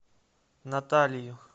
наталию